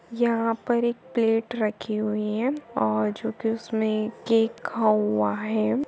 यहाँ पर एक प्लेट राखी हुई है और जो कि उसमे केक है ।